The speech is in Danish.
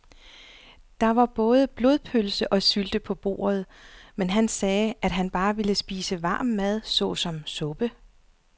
Der var både blodpølse og sylte på bordet, men han sagde, at han bare ville spise varm mad såsom suppe.